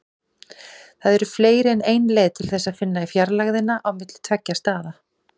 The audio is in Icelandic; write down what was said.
Það eru fleiri en ein leið til þess að finna fjarlægðina á milli tveggja staða.